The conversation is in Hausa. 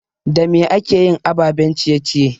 Da me akeyin ababen ciye ciye?